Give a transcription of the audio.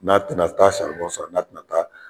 N'a tɛna taa saribɔn san n'a tɛna taa